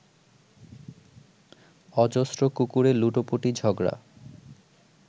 অজস্র কুকুরে লুটোপুটি ঝগড়া